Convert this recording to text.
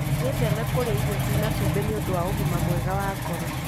Wĩtheme kũrĩa irio cia cumbĩ nĩ ũndũ wa ũgima mwega wa ngoro.